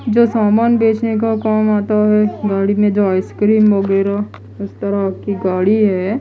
जो सामान बेचने को काम आता है गाड़ी में जो आइसक्रीम वगैरा उस तरह की गाड़ी है।